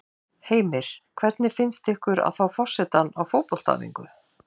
Heimir: Hvernig finnst ykkur að fá forsetann á fótboltaæfingu?